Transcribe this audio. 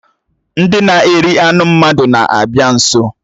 Ndị na-eri anụ mmadụ na-abịa nso